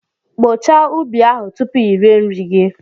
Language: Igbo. Kpochaa ubi ahụ tupu i rie nri gị!